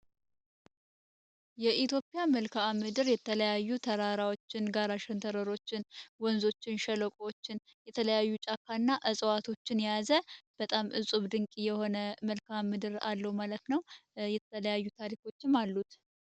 የኢትዮጵያ መልካዓ ምድር የተለያዩ ተራራዎችን ጋራ ሸንተረሮችን ወንዞችን ሸለቆዎችን የተለያዩ ጫካ እና እጽዋቶችን ያዘ በጣም እጹብ ድንቂ የሆነ መልካ ምድር አለው ማለት ነው የተለያዩ ታሪኮችን አሉት፡፡